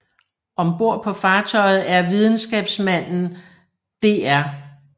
Om bord på fartøjet er videnskabsmanden Dr